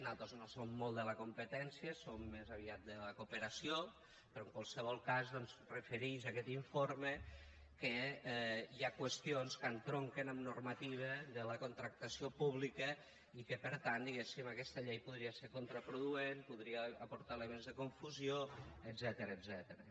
nosaltres no som molt de la competència som més aviat de la cooperació però en qualsevol cas es referix aquest informe que hi ha qüestions que entronquen amb normativa de la contractació pública i que per tant diguéssim aquesta llei podria ser contraproduent podria aportar elements de confusió etcètera